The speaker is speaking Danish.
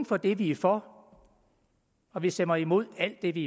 for det vi er for og vi stemmer imod alt det vi